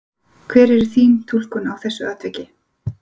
Hver er þín túlkun á þessu atviki?